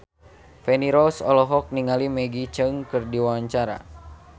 Feni Rose olohok ningali Maggie Cheung keur diwawancara